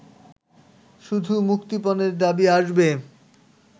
শুধু মুক্তিপণের দাবি আসবে